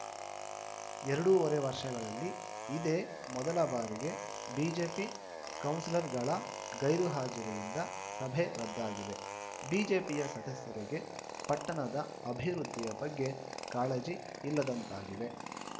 ಎರಡೂವರೆ ವರ್ಷಗಳಲ್ಲಿ ಇದೇ ಮೊದಲ ಬಾರಿಗೆ ಬಿಜೆಪಿ ಕೌನ್ಸಿಲರ್‌ಗಳ ಗೈರು ಹಾಜರಿಯಿಂದ ಸಭೆ ರದ್ದಾಗಿದೆ ಬಿಜೆಪಿಯ ಸದಸ್ಯರಿಗೆ ಪಟ್ಟಣದ ಅಭಿವೃದ್ಧಿಯ ಬಗ್ಗೆ ಕಾಳಜಿ ಇಲ್ಲದಂತಾಗಿದೆ